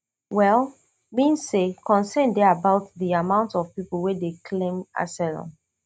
well mean say concern dey about di amount of pipo wey dey claim asylum